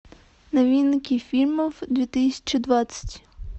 новинки фильмов две тысячи двадцать